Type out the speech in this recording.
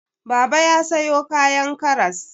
Baba ya sayo kayan karas.